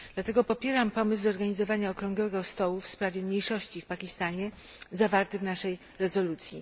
Dlatego popieram pomysł zorganizowania okrągłego stołu w sprawie mniejszości w Pakistanie, zawarty w naszej rezolucji.